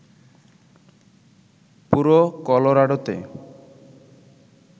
পুরো কলোরাডোতে